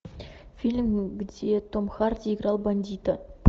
фильм где том харди играл бандита